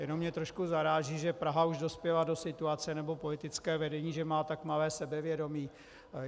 Jenom mě trošku zaráží, že Praha už dospěla do situace, nebo politické vedení, že má tak malé sebevědomí.